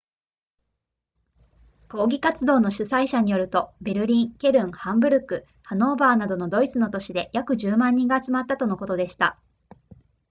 抗議活動の主催者によるとベルリンケルンハンブルクハノーバーなどのドイツの都市で約10万人が集まったとのことでした